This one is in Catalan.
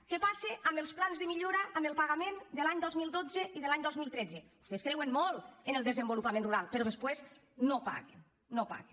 què passa amb els plans de millora amb el pagament de l’any dos mil dotze i de l’any dos mil tretze vostès creuen molt en el desenvolupament rural però després no paguen no paguen